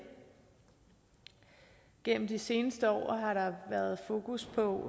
gennem de seneste år har der været fokus på